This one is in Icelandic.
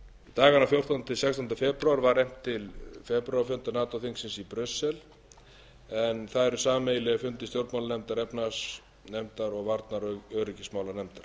dagana fjórtánda til sextánda febrúar var efnt til febrúarfunda nato þingsins í brussel en það eru sameiginlegir fundir stjórnmálanefndar efnahagsnefndar og varnar og öryggismálanefndar